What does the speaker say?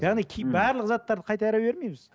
яғни барлық заттарды қайтара бермейміз